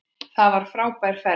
Það var frábær ferð.